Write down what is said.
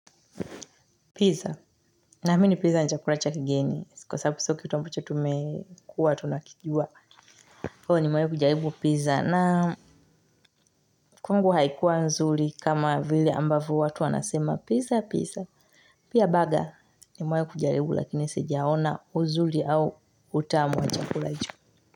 Pizza. Naami ni pizza nichakula cha kigeni. Siko sababu siokitu ambacho tumekua tunakijua. Kwa hivo nimewai kujaribu pizza na kwangu haikuwa nzuri kama vile ambavyo watu wanasema pizza pizza. Pia baga ni mewai kujaribu lakini sijaona uzuri au utamu wa chakula hicho.